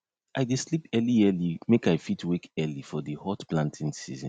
i dey sleep early early make i fit wake early for di hot planting season